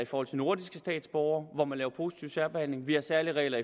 for nordiske statsborgere man laver positiv særbehandling vi har særlige regler